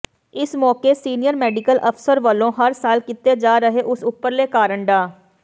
ਇਸ ਮੌਕੇ senior medical ਅਫਸਰ ਵੱਲੋਂ ਹਰ ਸਾਲ ਕੀਤੇ ਜਾ ਰਹੇ ਇਸ ਉਪਰਾਲੇ ਕਾਰਨ ਡਾ